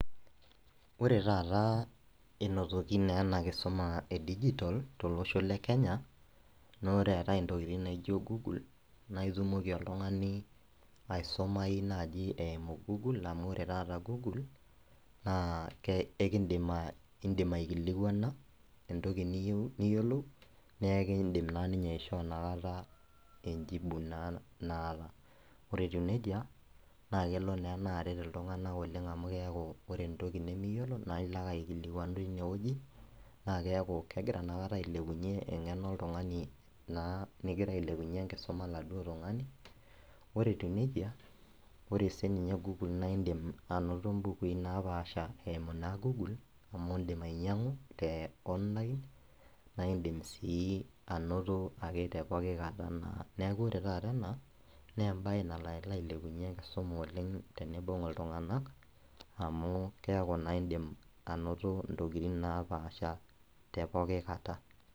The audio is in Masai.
Ore taata inotoki na enakisuma e digital tolosho le kenya na ore eetae ntokitin naijo google na itumoki oltungani aisumai nai eimu google amu ore nai google na ekindim indim aikilikuana entoki niyieu niyolou na ekindim ninye aisho na enjibu naata ore etiu nejia na kelo ena aret ltunganak amu ore naa entoki nimiyiolona ilo ake aikilikuanu tinewueji nakeaku kegira ailepunye engeno oltungani na negira ailepunye enkisuma oladuo tungani, ore etiu nejia ore si inye google na indim ainoto mbukui napaasha eimu na google amu indim ainyangu te online na indim ainoto tepookikata neaku ore taata ena na embae nalo ailepunye enkisuma oleng tenibung ltunganak amu keaku na indim ainoto ntokitin napaasha tepoki kata.